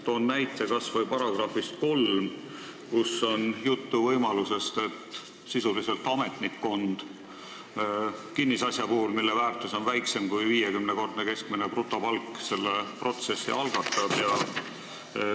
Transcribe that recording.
Toon näiteks kas või § 3, kus on juttu võimalusest, et kinnisasja puhul, mille väärtus on väiksem kui 50-kordne keskmine brutopalk, algatab selle protsessi ametnikkond.